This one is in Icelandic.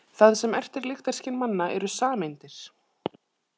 Það sem ertir lyktarskyn manna eru sameindir.